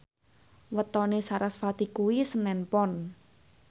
wetone sarasvati kuwi senen Pon